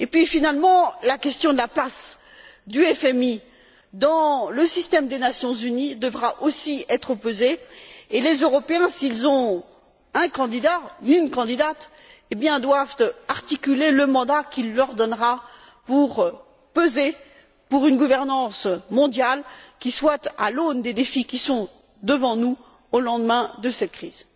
Finalement, la question de la place du FMI dans le système des Nations unies devra aussi être posée et les Européens, s'ils ont un candidat ou une candidate, doivent articuler le mandat qu'ils lui donneront pour peser en faveur d'une gouvernance mondiale qui soit à l'aune des défis qui sont devant nous au lendemain de cette crise.